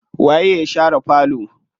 Waye ya share falo?